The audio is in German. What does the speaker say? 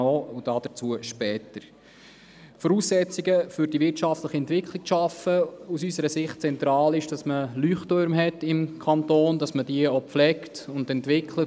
Noch zum Schaffen von Voraussetzungen für die wirtschaftliche Entwicklung: Es ist von zentraler Wichtigkeit für den Kanton Bern, Leuchttürme zu haben und diese auch zu pflegen und zu entwickeln.